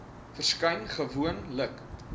verskyn gewoon lik